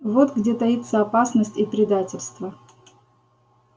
вот где таится опасность и предательство